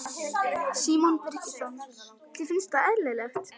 Símon Birgisson: Þér finnst það eðlilegt?